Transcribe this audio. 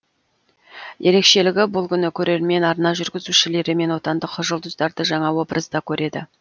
ерекшелігі бұл күні көрермен арна жүргізушілері мен отандық жұлдыздарды жаңа образда көреді